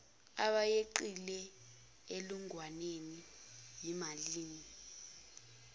abeqile enkulungwaneni yimalini